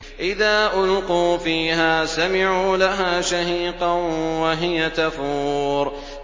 إِذَا أُلْقُوا فِيهَا سَمِعُوا لَهَا شَهِيقًا وَهِيَ تَفُورُ